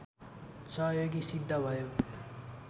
सहयोगि सिद्ध भयो